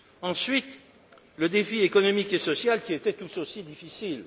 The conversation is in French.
Ensuite, le défi économique et social, qui était tout aussi difficile.